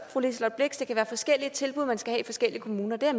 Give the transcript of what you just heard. blixt at være forskellige tilbud man skal have i forskellige kommuner og det er